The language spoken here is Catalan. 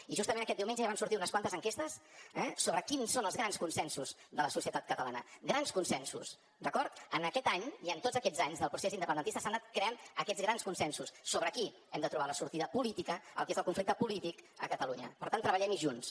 i justament aquest diumenge ja van sortir unes quantes enquestes eh sobre quins són els grans consensos de la societat catalana grans consensos d’acord en aquest any i en tots aquests anys del procés independentista s’han anat creant aquests grans consensos sobre aquí hem de trobar la sortida política al que és el conflicte llem hi junts